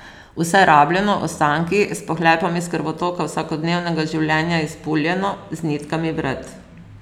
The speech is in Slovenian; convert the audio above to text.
Vse rabljeno, ostanki, s pohlepom iz krvotoka vsakodnevnega življenja izpuljeno, z nitkami vred.